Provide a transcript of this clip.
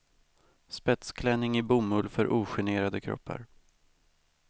Spetsklänning i bomull för ogenerade kroppar.